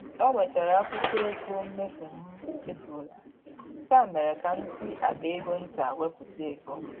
O wetere akwụkwọ ego mmefu m chefurula, nke mere ka m si akpa ego nta wepụta ego